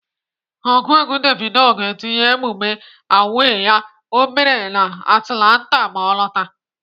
Ọgụ egwu Davido ga-etinye emume A.W.A.Y ya o mere na Atlanta ma ọ lọtaa.